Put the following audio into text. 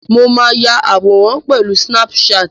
Mo máa ya àwọn àwòrán pẹ̀lú sínáp-saàtì